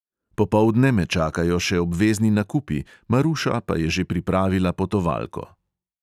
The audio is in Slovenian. Popoldne me čakajo še obvezni nakupi, maruša pa je že pripravila potovalko.